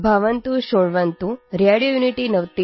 radio unity ninety F